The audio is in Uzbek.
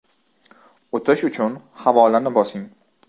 O‘tish uchun HAVOLAni bosing .